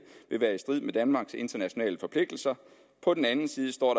vil være i strid med danmarks internationale forpligtelser på den ene side står